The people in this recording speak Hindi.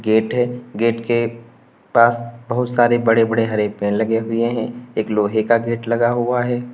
गेट हैं गेट के पास बहुत सारे बड़े हरे पेड़ लगे हुएं हैं एक लोहे का गेट लगा हुआ है।